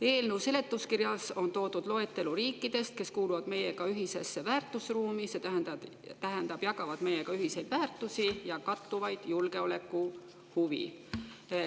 Eelnõu seletuskirjas on toodud loetelu riikidest, kes kuuluvad meiega ühisesse väärtusruumi, see tähendab, jagavad meiega ühiseid väärtusi ja kattuvaid julgeolekuhuve.